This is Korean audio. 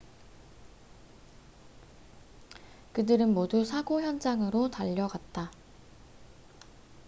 그들은 모두 사고 현장으로 달려갔다